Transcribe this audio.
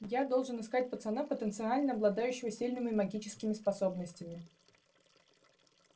я должен искать пацана потенциально обладающего сильными магическими способностями